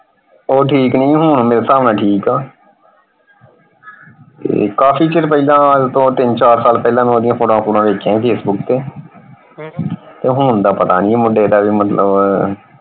ਉਹ ਠੀਕ ਨਹੀਂ ਸੀ ਹੁਣ ਮੇਰੇ ਹਿਸਾਬ ਨਾਲ ਠੀਕ ਆ ਕਾਫੀ ਚਿਰ ਪਹਿਲਾਂ ਅੱਜ ਤੋਂ ਤਿੰਨ ਚਾਰ ਸਾਲ ਪਹਿਲਾਂ ਮੈਂ ਓਹਦੀ photos ਫ਼ੁਟਵਾਂ ਵੇਖੀਆਂ ਸੀ facebook ਤੇ ਹੁਣ ਦਾ ਪਤਾ ਨਹੀਂ ਮੁੰਡੇ ਦਾ ਮਤਲਬ।